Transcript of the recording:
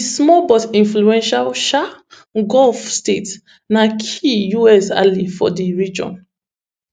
di small but influential um gulf state na key us ally for di region